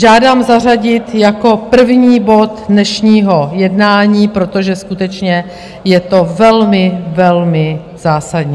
Žádám zařadit jako první bod dnešního jednání, protože skutečně je to velmi, velmi zásadní.